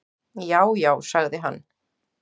"""Já, já sagði hann."""